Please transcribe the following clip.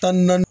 Tan ni naani